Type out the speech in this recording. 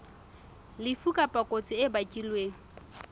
lefu kapa kotsi e bakilweng